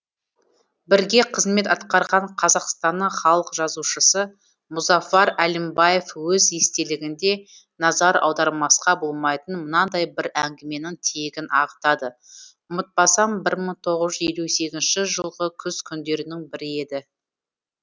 бірге қызмет атқарған қазақстанның халық жазушысы мұзафар әлімбаев өз естелігінде назар аудармасқа болмайтын мынандай бір әңгіменің тиегін ағытады ұмытпасам бір мың тоғыз жүз елу сегізінші жылғы күз күндерінің бірі еді